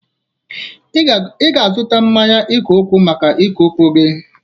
Ị ga-azụta mmanụ ike ụkwụ maka ike ụkwụ gị.